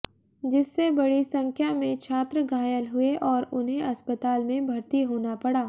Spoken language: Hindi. जिससे बड़ी संख्या में छात्र घायल हुए और उन्हें अस्पताल में भर्ती होना पड़ा